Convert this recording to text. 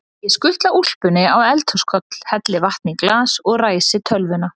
Ég skutla úlpunni á eldhúskoll, helli vatni í glas og ræsi tölvuna.